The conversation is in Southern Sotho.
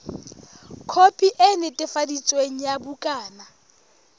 khopi e netefaditsweng ya bukana